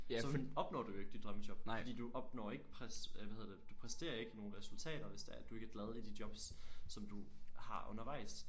Så opnår du jo ikke dit drømmejob fordi du opnår ikke øh hvad hedder du præsterer ikke nogle resultater hvis du ikke er glad i nogle af de jobs som du har undervejs